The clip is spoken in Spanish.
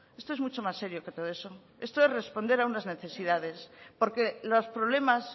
esto es mucho más serio que todo eso esto es responder a unas necesidades porque los problemas